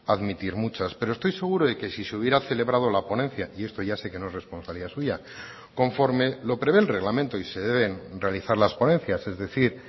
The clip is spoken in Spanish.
admitir muchas pero estoy seguro de que si se hubiera celebrado la ponencia y esto ya sé que no es responsabilidad suya conforme lo prevé el reglamento y se deben realizar las ponencias es decir